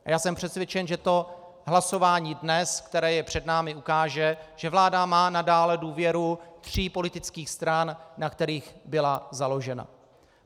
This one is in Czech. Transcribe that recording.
A já jsem přesvědčen, že to hlasování dnes, které je před námi, ukáže, že vláda má nadále důvěru tří politických stran, na kterých byla založena.